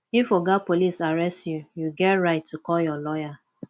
if oga police arrest you you get right to call your lawyer